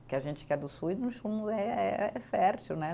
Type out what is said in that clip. Porque a gente que é do sul é fértil, né?